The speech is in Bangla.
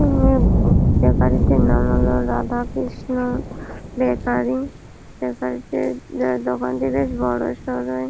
এমনি বেকারী টির নাম হলো রাধাকৃষ্ণ বেকারী বেকারি -টি দোকানটি বেশ বড়ো সড়োই।